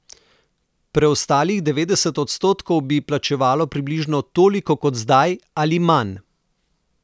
Preostalih devetdeset odstotkov bi plačevalo približno toliko kot zdaj ali manj.